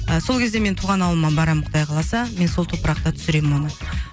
ы сол кезде мен туған ауылыма барамын құдай қаласа мен сол топырақта түсіремін оны